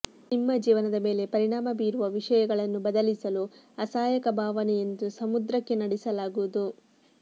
ನಿಮ್ಮ ಜೀವನದ ಮೇಲೆ ಪರಿಣಾಮ ಬೀರುವ ವಿಷಯಗಳನ್ನು ಬದಲಿಸಲು ಅಸಹಾಯಕ ಭಾವನೆ ಎಂದು ಸಮುದ್ರಕ್ಕೆ ನಡೆಸಲಾಗುವುದು